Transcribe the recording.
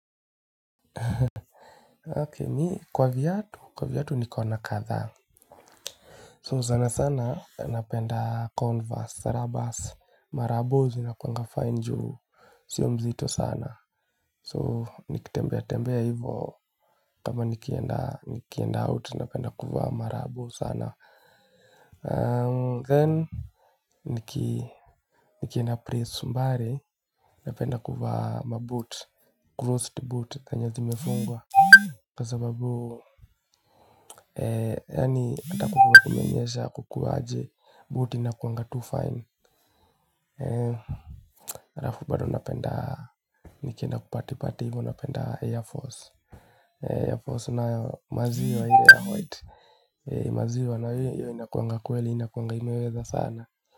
Okay, mi kwa viatu, kwa viatu nikona kadha So sana sana, napenda converse, rubbers, marabo, zinakuanga fine njuu siyo mzito sana So, nikitembea tembea hivo, kama nikienda out, napenda kuwa marabo sana Then, nikienda place mbali, napenda kuvaa maboot, crossed boot, zenye zimefungwa Kwa sababu, yani atakuwa kumenyesha kukuwa aje, boot inakuanga Tufine alafu bado napenda, nikienda kuparty party, huwa penda Air Force Air Force na maziwa ile ya White maziwa na hiyo inakuanga kweli, inakuanga imeweza sana.